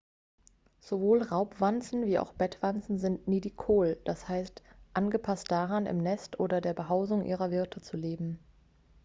sowohl raubwanzen wie auch bettwanzen sind nidicol d.h. angepasst daran im nest oder der behausung ihrer wirte zu leben